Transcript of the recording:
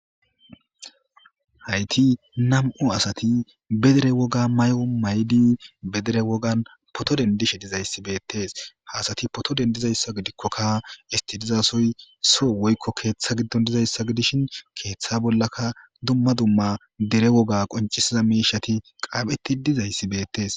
Haythi nam7u asathi be dere wogaa mayuwa mayidi be dere wogan phootho denddishe dizayssi beeththees; ha asathi phootho denddizayssa gidikkoka esththi diza sohoy soo woykko keeththa giddon dizayssa gidishin keeththa bollaka dumma dumma dere wogaa qonccissida miishshathi xaafeththi dizayssi beeththees.